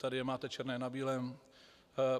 Tady je máte černé na bílém.